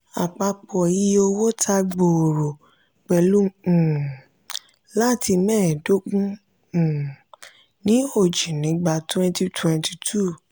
àpapọ̀ iye owó tà gbòòrò pelu um láti meedogun um ní oji nígbà twenty twenty two.